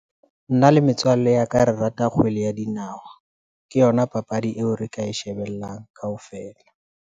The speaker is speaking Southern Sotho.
Nna le metswalle ya ka, re rata kgwele ya dinawa ke yona papadi eo re ka e shebellang kaofela.